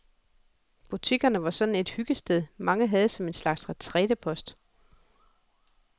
Butikkerne var sådan et hyggested, mange havde som en slags retrætepost.